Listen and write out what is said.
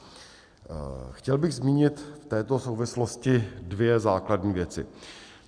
Chtěl bych zmínit v této souvislosti dvě základní věci.